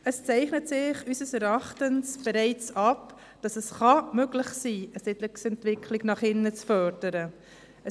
Es zeichnet sich unseres Erachtens bereits ab, dass die Förderung der Siedlungsentwicklung nach innen möglich sein kann.